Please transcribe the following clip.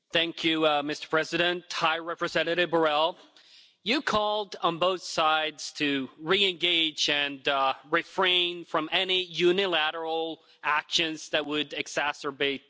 Mr President, High Representative Mr Borrell, you called on both sides to reengage and refrain from any unilateral actions that would exacerbate tensions.